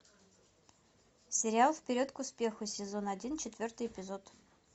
сериал вперед к успеху сезон один четвертый эпизод